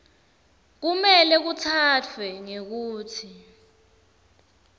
kumele kutsatfwe ngekutsi